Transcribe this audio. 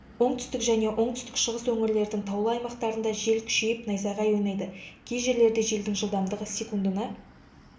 оңтүстік және оңтүстік шығыс өңірлердің таулы аймақтарында жел күшейіп найзағай ойнайды кей жерлерде желдің жылдамдығы секундына